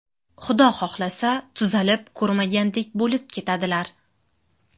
Xudo xohlasa tuzalib ko‘rmagandek bo‘lib ketadilar!